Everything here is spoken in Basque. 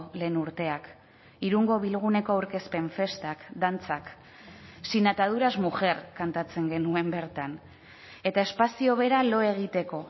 lehen urteak irungo bilguneko aurkezpen festak dantzak sin ataduras mujer kantatzen genuen bertan eta espazio bera lo egiteko